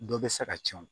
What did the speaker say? Dɔ bɛ se ka tiɲɛ o